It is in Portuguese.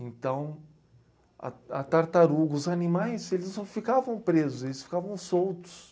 Então, a t, a tartaruga... Os animais eles não ficavam presos, eles ficavam soltos.